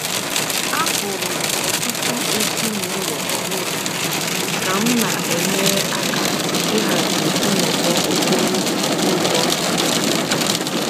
Ahụrụ m ọtụtụ ezinụlọ ọhụrụ ka m na-enyere aka ịhazi nnọkọ okporo ụzọ izu ụka